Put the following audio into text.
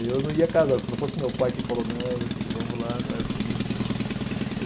Eu não ia casar, se não fosse meu pai que falou, não, meu filho, vamos lá, não é assim.